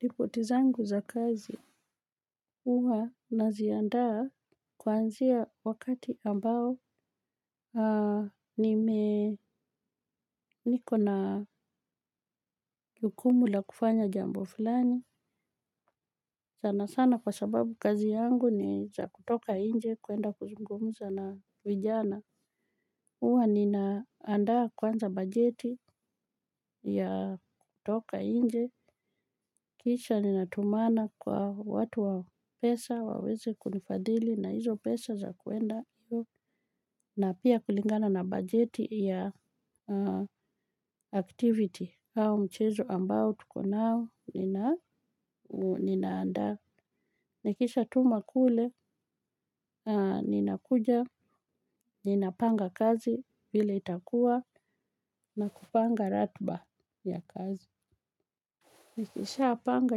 Ripoti zangu za kazi huwa naziandaa kuanzia wakati ambao niko na jukumu la kufanya jambo fulani. Sana sana kwa sababu kazi yangu ni za kutoka inje kuenda kuzungumza na vijana. Huwa ninaandaa kwanza bajeti ya kutoka nje, kisha ninatumana kwa watu wa pesa, waweze kunifadhili na hizo pesa za kuenda, na pia kulingana na bajeti ya activity au mchezo ambao tuko nao, ninaandaa. Nikishatuma kule, ninakuja, ninapanga kazi vile itakua na kupanga ratiba ya kazi. Nikishapanga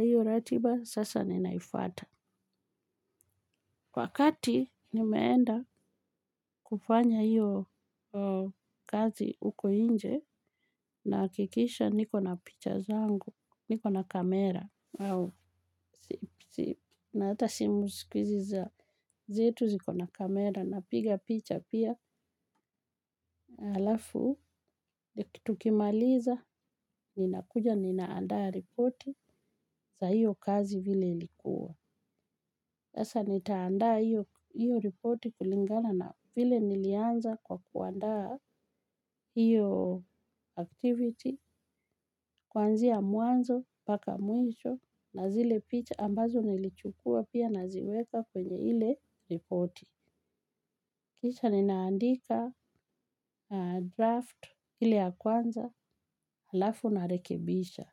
hiyo ratiba, sasa ninaifuata. Wakati nimeenda kufanya hiyo kazi huko nje, nahakikisha niko na picha zangu, niko na kamera. Na hata simu siku hizi zetu ziko na kamera ninapiga picha pia halafu tukimaliza ninakuja ninaandaa ripoti za hiyo kazi vile ilikuwa sasa nitaandaa hiyo ripoti kulingana na vile nilianza kwa kuandaa hiyo activity. Kuanzia mwanzo, mpaka mwisho na zile picha ambazo nilichukua pia ninaziweka kwenye ile ripoti. Kisha ninaandika draft ile ya kwanza halafu ninarekebisha.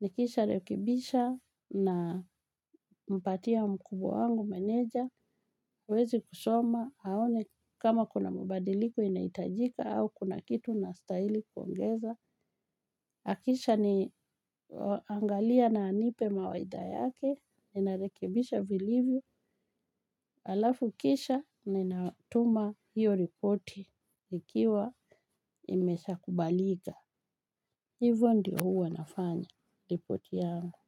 Nikisharekebisha, ninampatia mkubwa wangu meneja. Aweze kusoma, aone kama kuna mabadiliko inahitajika au kuna kitu ninastahili kuongeza. Akishaangalia na anipe mawaidha yake, ninarekebisha vilivyo, alafu kisha ninatuma hiyo ripoti, ikiwa imeshakubalika. Hivyo ndio huwa nafanya, ripoti yangu.